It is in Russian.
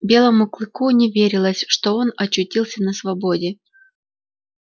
белому клыку не верилось что он очутился на свободе